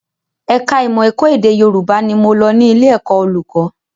Ẹ̀ka ìmọ̀ ẹ̀kọ́ èdè Yòrùbá ni mo lọ ní ilé ẹ̀kọ́ olùkọ́